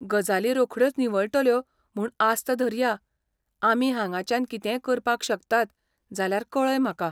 गजाली रोखड्योच निवळटल्यो म्हूण आस्त धरया, आमी हांगाच्यान कितेंय करपाक शकतात जाल्यार कळय म्हाका.